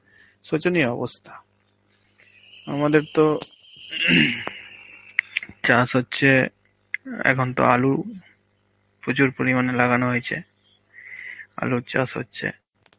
শোচনীয় অবস্থা. আমাদের তো চাষ হচ্ছে এখন তো আলু প্রচুর পরিমাণে লাগানো হয়েছে, আলুর চাষ হচ্ছে.